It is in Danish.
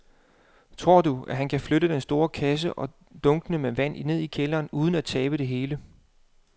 Tror du, at han kan flytte den store kasse og dunkene med vand ned i kælderen uden at tabe det hele?